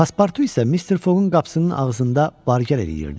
Paspartu isə Mister Fogun qapısının ağzında bargər eləyirdi.